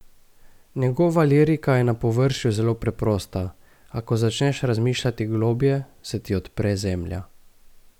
Njegova lirika je na površju zelo preprosta, a ko začneš razmišljati globlje, se ti odpre zemlja.